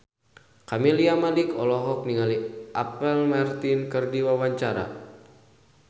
Camelia Malik olohok ningali Apple Martin keur diwawancara